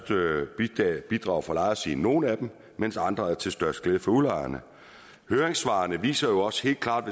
bidrag fra lejersiden nogle af dem mens andre er til størst glæde for udlejerne høringssvarene viser jo også helt klart